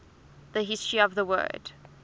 the history of the word